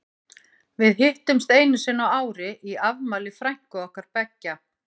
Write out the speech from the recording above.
Við hittumst einu sinni á ári í afmæli frænku okkar beggja.